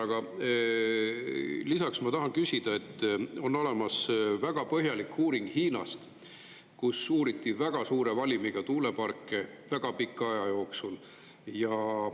Aga lisaks ma tahan küsida, et on olemas väga põhjalik uuring Hiinast, kus uuriti väga suure valimiga tuuleparke väga pika aja jooksul.